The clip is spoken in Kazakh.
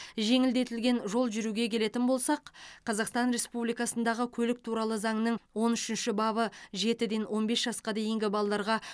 жеңілдетілген жол жүруге келетін болсақ қазақстан республикасындағы көлік туралы заңның он үшінші бабы жетіден он бес жасқа дейінгі балаларға